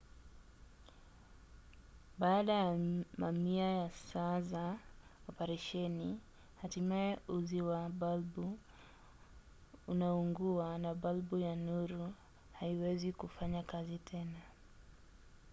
baada ya mamia ya saa za operesheni hatimaye uzi wa balbu unaungua na balbu ya nuru haiwezi kufanya kazi tena